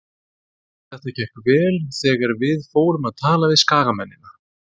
Þetta gekk vel þegar við fórum að tala við skagamennina.